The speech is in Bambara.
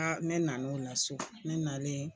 Aa ne nana o la so ne nalen